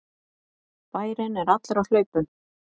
Bærinn er allur á hlaupum!